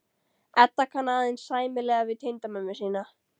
Edda kann aðeins sæmilega við tengdamömmu sína.